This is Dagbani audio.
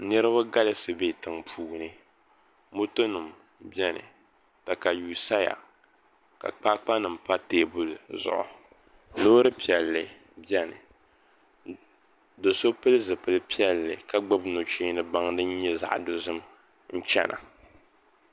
Niraba galisi bɛ tiŋ puuni moto nim biɛni katawii saya ka kpaakpa nim pa teebuli zuɣu loori piɛlli biɛni do so pili zipili piɛlli ka gbubi nuchee ni baŋ din nyɛ zaɣ dozim n chɛna